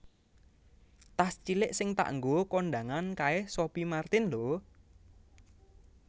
Tas cilik sing tak nggo kondangan kae Sophie Martin lho